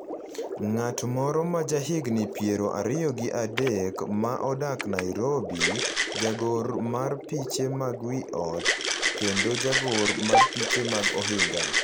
ng’at moro ma ja higni piero ariyo gi adek ma odak Nairobi, jagor mar piche mag wi ot kendo jagor mar piche mag ohinga.